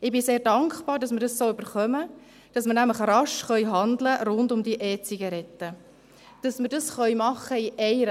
Ich bin sehr dankbar, dass wir dies so vorgelegt erhalten haben, sodass wir nämlich rund um die E-Zigaretten rasch handeln und es in einer Lesung machen können.